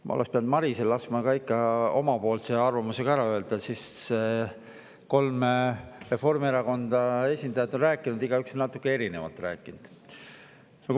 Ma oleksin pidanud ikka laskma Marisel oma arvamuse ka ära öelda, siis oleks kolmest Reformierakonna esindajast on igaüks natuke erinevalt rääkinud.